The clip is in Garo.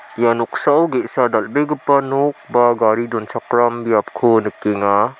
ia noksao ge·sa dal·begipa nok ba gari donchakram biapko nikenga.